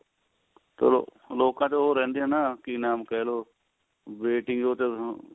ਚਲੋ ਲੋਕਾਂ ਚ ਉਹ ਰਹਿੰਦੀਆਂ ਆ ਨਾ ਕੀ ਨਾਮ ਕਹਿ ਲੋ waiting ਉਹ